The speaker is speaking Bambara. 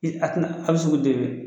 Ee a te na hali sugu den fɛ